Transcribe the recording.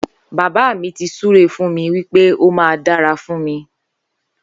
Bàbá mi ti sùré fùn mi wìpé ó mà dàrá fùn mi